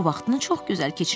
O vaxtını çox gözəl keçirirdi.